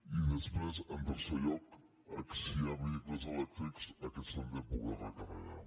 i després en tercer lloc si hi ha vehicles elèctrics aquests s’han de poder recarregar